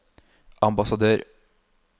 ambassadør